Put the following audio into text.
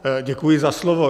Děkuji za slovo.